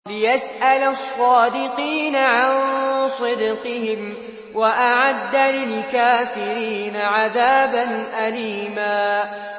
لِّيَسْأَلَ الصَّادِقِينَ عَن صِدْقِهِمْ ۚ وَأَعَدَّ لِلْكَافِرِينَ عَذَابًا أَلِيمًا